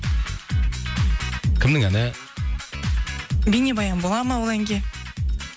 кімнің әні бейнебаян бола ма ол әнге